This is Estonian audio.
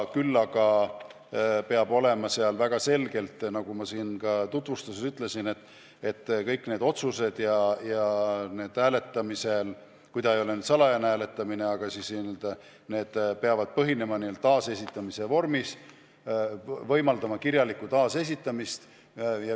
Küll aga, nagu ma tutvustuses juba ütlesin, kõik need otsused ja need hääletamised, kui need ei ole salajased hääletamised, peavad olema taasesitatavas vormis, võimaldama kirjalikku taasesitamist.